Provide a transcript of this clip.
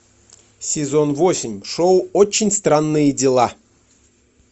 сезон восемь шоу очень странные дела